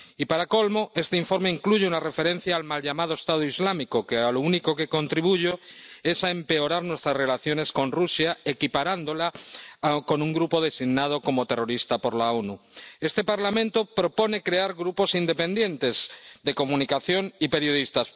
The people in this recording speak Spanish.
Y, para colmo, este informe incluye una referencia al mal llamado Estado Islámico que a lo único que contribuye es a empeorar nuestras relaciones con Rusia, equiparándola con un grupo designado como terrorista por las Naciones Unidas. Este Parlamento propone crear grupos independientes de comunicación y periodistas.